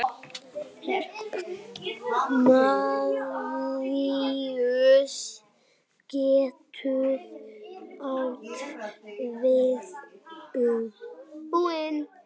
Maríus getur átt við um